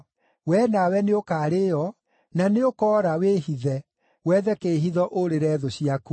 Wee nawe nĩũkarĩĩo, na nĩũkoora, wĩhithe, wethe kĩĩhitho ũũrĩre thũ ciaku.